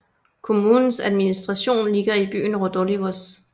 Kommunes administration ligger i byen Rodolivos